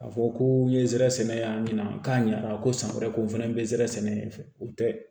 A fɔ ko n ye zɛrɛ sɛnɛ y'a ɲɛna k'a ɲa ko san wɛrɛ ko n fɛnɛ be nsɛrɛ sɛnɛ o tɛ